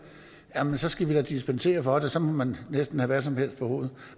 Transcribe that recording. andet så skal vi da dispensere fra det og så må man næsten have hvad som helst på hovedet